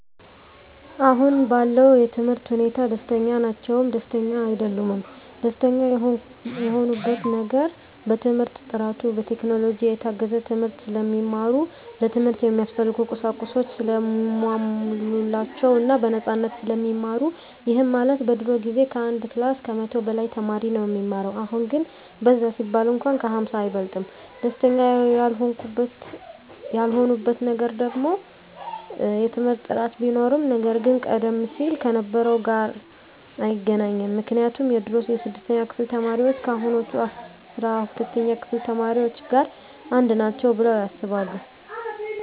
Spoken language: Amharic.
አሁን ባለው የትምህርት ሁኔታ ደስተኛ ናቸውም ደስተኛም አይደሉምም። ደስተኛ የሆኑበት ነገር በትምህርት ጥራቱ፣ በቴክኖሎጂ የታገዘ ትምህርት ስለሚማሩ፣ ለትምህርት እሚያስፈልጉ ቁሳቁሶች ሰለተሟሉላቸው እና በነፃነት ስለሚማሩ ይህም ማለት በድሮ ጊዜ ከአንድ ክላስ ከመቶ በላይ ተማሪ ነው እሚማረው አሁን ግን በዛ ቢባል እንኳን ከ ሃምሳ አይበልጥም። ደስተኛ ያልሆኑበት ነገር ደግሞ የትምህርት ጥራት ቢኖርም ነገር ግን ቀደም ሲል ከነበረው ጋር አይገናኝም ምክንያቱም የድሮ የስድስተኛ ክፍል ተማሪዎች ከአሁኖቹ አስራ ሁለተኛ ክፍል ተማሪዎች ጋር አንድ ናቸው ብለው ያስባሉ።